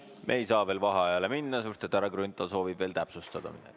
Me ei saa veel vaheajale minna, sest härra Grünthal soovib veel midagi täpsustada.